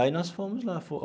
Aí nós fomos lá.